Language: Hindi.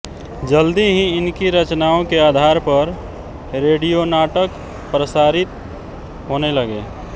जल्दी ही इनकी रचनाओं के आधार पर रेडियोनाटक प्रसारित होने लगे